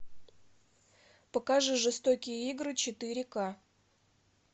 покажи жестокие игры четыре к